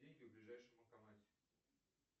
деньги в ближайшем банкомате